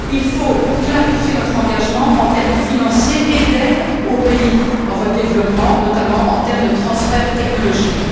Il faut clarifier notre engagement en termes financiers et en termes d'aides aux pays en voie de développement, notamment par des transferts technologiques.